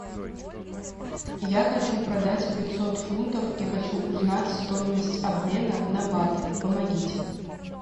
я хочу продать пятьсот фунтов и хочу узнать стоимость обмена на баты помогите